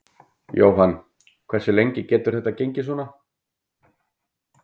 Jóhann: Hversu lengi getur þetta gengið svona?